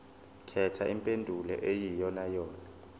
khetha impendulo eyiyonayona